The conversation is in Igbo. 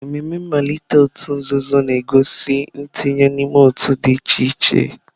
Ememe mmalite òtù nzuzo na-egosi ntinye n'ime otu dị iche iche.